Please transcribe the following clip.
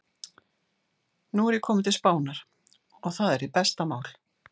Nú er ég kominn til Spánar. og það er hið besta mál.